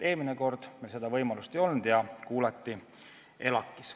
Eelmine kord meil seda võimalust ei olnud, kandidaati kuulati ELAK-is.